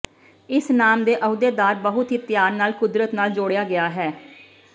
ਇਸ ਨਾਮ ਦੇ ਅਹੁਦੇਦਾਰ ਬਹੁਤ ਹੀ ਧਿਆਨ ਨਾਲ ਕੁਦਰਤ ਨਾਲ ਜੋੜਿਆ ਗਿਆ ਹੈ